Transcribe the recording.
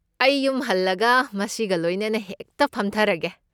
ꯑꯩ ꯌꯨꯝ ꯍꯜꯂꯒ ꯃꯁꯤꯒ ꯂꯣꯏꯅꯅ ꯍꯦꯛꯇ ꯐꯝꯊꯔꯒꯦ꯫